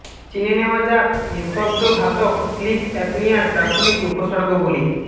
চিনে নেওয়া যাক নিঃশব্দ ঘাতক স্লিপ অ্যাপনিয়ার প্রাথমিক উপসর্গগুলি